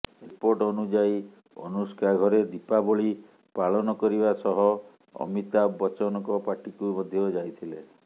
report ଅନୁଯାୟୀ ଅନୁଷ୍କା ଘରେ ଦୀପାବଳି ପାଳନ କରିବା ସହ ଅମିତାଭ ବଚ୍ଚନଙ୍କ ପାର୍ଟିକୁ ମଧ୍ୟ ଯାଇଥିଲେ